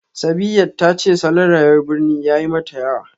Sabiyat ta ce salon rayuwar birni ya yi mata yawa